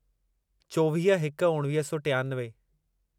चोवीह हिक उणिवीह सौ टियानवे